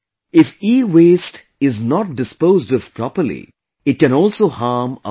If EWaste is not disposed of properly, it can also harm our environment